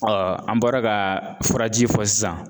an bɔra ka furaji fɔ sisan.